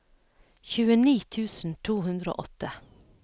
tjueni tusen to hundre og åtte